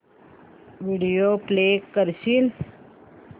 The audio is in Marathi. व्हिडिओ प्ले करशील